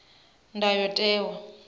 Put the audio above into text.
ndayotewa